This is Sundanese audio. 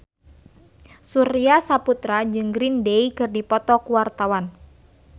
Surya Saputra jeung Green Day keur dipoto ku wartawan